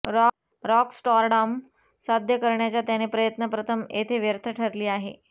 rock stardom साध्य करण्याचा त्याने प्रयत्न प्रथम येथे व्यर्थ ठरली आहे